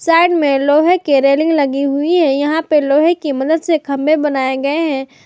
Side में लोहे के रेलिंग लगी हुई है यहां पे लोहे की मदद के खंभे बनाए गए है।